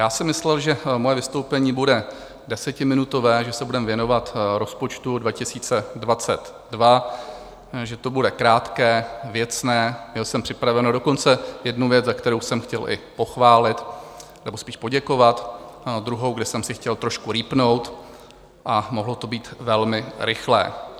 Já jsem myslel, že moje vystoupení bude desetiminutové, že se budeme věnovat rozpočtu 2022, že to bude krátké, věcné, měl jsem připravenu dokonce jednu věc, za kterou jsem chtěl i pochválit nebo spíš poděkovat, druhou, kde jsem si chtěl trošku rýpnout, a mohlo to být velmi rychlé.